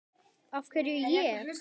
Af hverju ég?